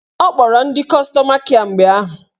Ọ kpọrọ ndị kọstọma kịe mgbe ahụ